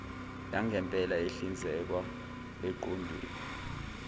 yangempela ehlinzekwa eqoqweni